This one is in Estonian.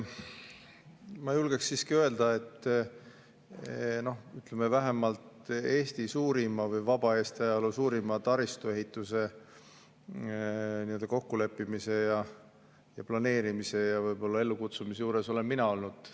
Ma julgeksin siiski öelda, et vähemalt vaba Eesti ajaloo suurima taristuehituse kokkuleppimise ja planeerimise ja ellukutsumise juures olen mina olnud.